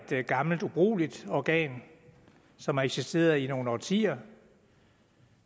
gammelt ubrugeligt organ som har eksisteret i nogle årtier